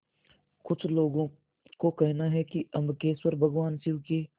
कुछ लोगों को कहना है कि अम्बकेश्वर भगवान शिव के